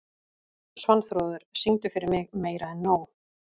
Svanþrúður, syngdu fyrir mig „Meira En Nóg“.